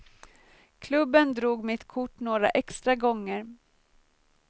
Klubben drog mitt kort några extra gånger.